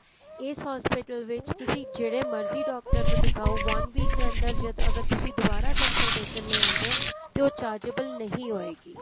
ਇਸ hospital ਵਿੱਚ ਤੁਸੀਂ ਜਿਹੜੇ ਮਰਜੀ ਡਾਕਟਰ ਨੂੰ ਦਿਖਾਓ one week ਦੇ ਅੰਦਰ ਜੇ ਤੁਸੀਂ ਦੁਬਾਰਾ consultation ਲਈ ਆਂਦੇ ਓ ਤੇ ਉਹ chargeable ਨਹੀਂ ਹੋਏਗੀ